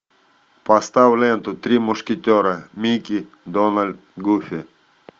поставь ленту три мушкетера микки дональд гуфи